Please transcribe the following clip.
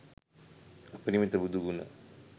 අපරිමිත බුදු ගුණ